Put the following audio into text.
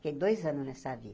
Fiquei dois anos nessa vida.